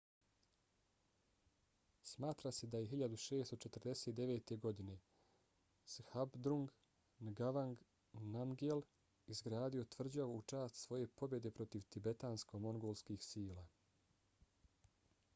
smatra se da je 1649. godine zhabdrung ngawang namgyel izgradio tvrđavu u čast svoje pobjede protiv tibetansko-mongolskih sila